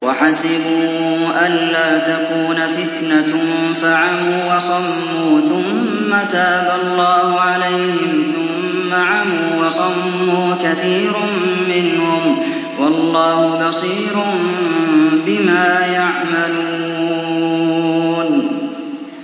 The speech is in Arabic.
وَحَسِبُوا أَلَّا تَكُونَ فِتْنَةٌ فَعَمُوا وَصَمُّوا ثُمَّ تَابَ اللَّهُ عَلَيْهِمْ ثُمَّ عَمُوا وَصَمُّوا كَثِيرٌ مِّنْهُمْ ۚ وَاللَّهُ بَصِيرٌ بِمَا يَعْمَلُونَ